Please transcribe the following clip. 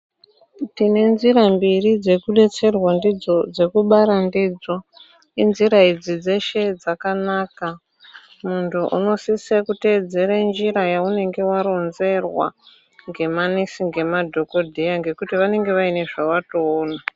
Tine nzira mbiri dzekubetserwa ndidzo dzekubara ndidzo inzira idzi dzeshe dzakanaka muntu unosise kuteedzere njira yaunenge waronzerwa ngemanesi ngemadhokodheya nekuti vanenge vane zvawatoona.